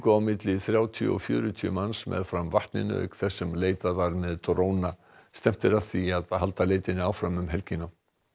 á milli þrjátíu og fjörutíu manns meðfram vatninu auk þess sem leitað var með dróna stefnt er að því að halda leitinni áfram um helgina